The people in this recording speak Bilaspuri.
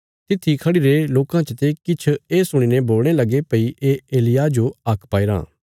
तित्थी खढ़िरे लोकां चते किछ ये सुणी ने बोलणे लगे भई ये एलिय्याह जो हाक पाईराँ